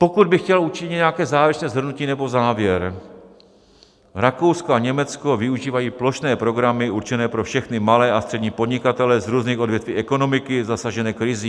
Pokud bych chtěl učinit nějaké závěrečné shrnutí nebo závěr, Rakousko a Německo využívají plošné programy určené pro všechny malé a střední podnikatele z různých odvětví ekonomiky zasažené krizí.